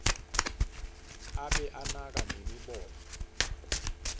abe anaka nemibono